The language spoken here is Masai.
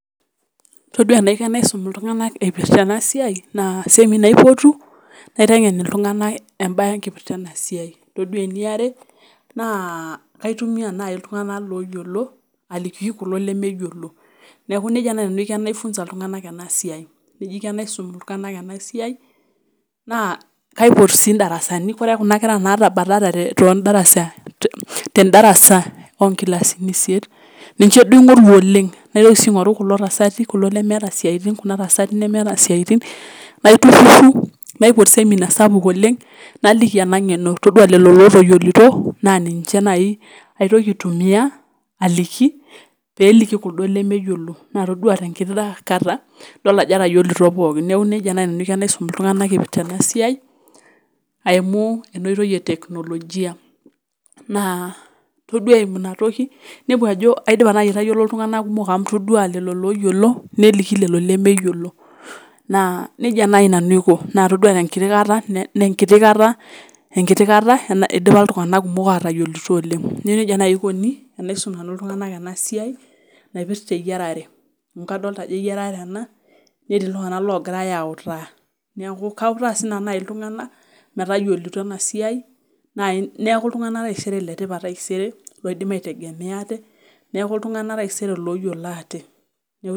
Todua enaiko enaisum iltung'anak eipirta eena siai naa seminar aipotu naiteng'en iltung'anak embaye enkipirta eena siai. Todua eniare naa kaitumia naaji iltung'anak loyiolo, aliki kulo lemeyiolo. Niaku nejia naaji nanu aiko teneifunza iltung'anak eena siai. Nejia aiko teneisum iltung'anak eena siai naa kaipot sii in'darasani oore kuuna kera natabatatate, ten'darasa onkilasini isiet, ninche suo aing'oru oleng naitoki sii aing'oru kulo tasati, kulo lemeata isiaitin naitururu naipot seminar sapuk oleng, naliki eena ng'eno toduaa lelo lotayiolito, na ninche naai aitoki aitumia, aliki pee eliki kuldo lemeyiolo matoduaa tenkiti kata aajo etayiolito pookin. Niaku nejia naaji nanu aiko tenaisum iltung'anak aitumia enkoitoi e teknolojia naa toduaa eimu iina toki, toduaa aajo aidipa naaji aitayiolo iltung'anak kumok amuu itoduaa lelo loyiolo, neliki lelo lemeyiolo. Naa nejia naaji nanu aiko, naa itaduaatenkiti kata eidipa iltung'anak kumok atayiolito oleng. Niaku nejia naaji eikoni tenaisum nanu iltung'anak eena siai naipirta eyiarare. Amuu kadolta aajo eyiararee eena netii iltung'anak logirae autaa, niaku kautaa naaji sinanu iltung'anak, metayiolito eena siai, niaku iltung'anak naaji letipat taisere, loidim aitegemea aate, niaku iltung'anak taisere loyiolo aate.